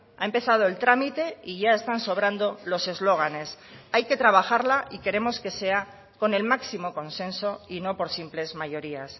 ha empezado el trámite y ya están sobrando los eslóganes hay que trabajarla y queremos que sea con el máximo consenso y no por simples mayorías